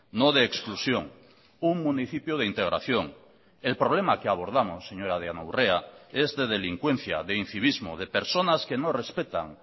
no de exclusión un municipio de integración el problema que abordamos señora diana urrea es de delincuencia de incivismo de personas que no respetan